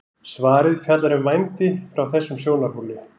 svarið fjallar um vændi frá þessum sjónarhóli